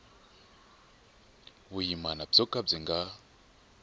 vuyimana byo ka byi nga